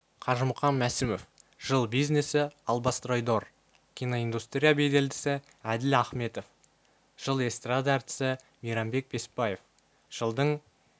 қажымқан мәсімов жыл бизнесі албастройдор киноиндустрия беделдісі әділ аіметов жыл эстарада әртісі мейрамбек беспаев жылдың